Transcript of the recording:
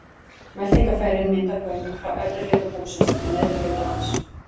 Meltingarfærin mynda göng frá efri hluta búksins til neðri hlutar hans.